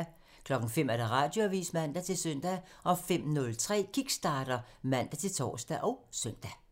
05:00: Radioavisen (man-søn) 05:03: Kickstarter (man-tor og søn)